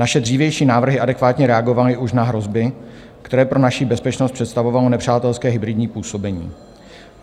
Naše dřívější návrhy adekvátně reagovaly už na hrozby, které pro naši bezpečnost představovalo nepřátelské hybridní působení.